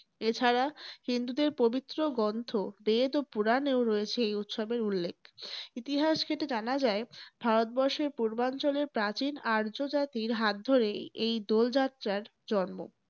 এ ছাড়া হিন্দুদের পবিত্র গ্রন্থ বেদ ও পূরণেও রয়েছে এই উৎসবের উল্লেখ। ইতিহাস ঘেঁটে জানা যায়, ভারত বর্ষের পূর্বাঞ্চলের প্রাচীন আর্যজাতির হাত ধরেই এই দোল যাত্রার জন্ম।